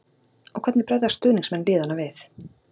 Og hvernig bregðast stuðningsmenn liðanna við?